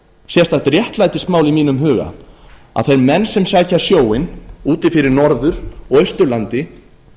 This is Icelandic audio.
sérstakt réttlætismál í mínum huga að þeir menn sem sækja sjóinn úti fyrir norður og austurlandi